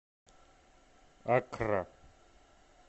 аккра